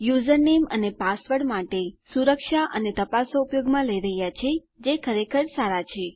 username અને password માટે સુરક્ષા અને તપાસો ઉપયોગમાં લઇ રહ્યા છીએ જે ખરેખર સારા છે